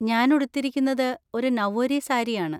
ഞാൻ ഉടുത്തിരിക്കുന്നത് ഒരു നൗവരി സാരി ആണ്.